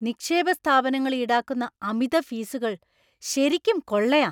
നിക്ഷേപ സ്ഥാപനങ്ങൾ ഈടാക്കുന്ന അമിത ഫീസുകള്‍ ശരിക്കും കൊള്ളയാ.